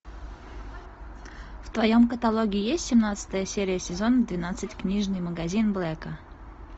в твоем каталоге есть семнадцатая серия сезона двенадцать книжный магазин блэка